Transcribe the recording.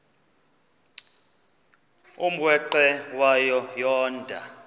umrweqe wayo yoonda